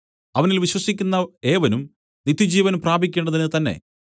അവനിൽ വിശ്വസിക്കുന്ന ഏവനും നിത്യജീവൻ പ്രാപിക്കേണ്ടതിന് തന്നേ